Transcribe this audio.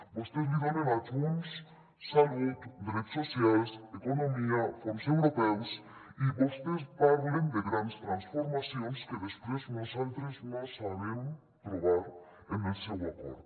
vostès li donen a junts salut drets socials economia fons europeus i vostès parlen de grans transformacions que després nosaltres no sabem trobar en el seu acord